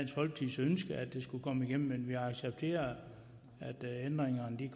er at de skulle komme igennem men vi accepterer at ændringerne